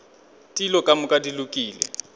dilo ka moka di lokile